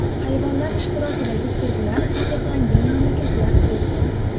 Hayvonlar ishtirokidagi sirklar taqiqlangan mamlakatlar ko‘pmi?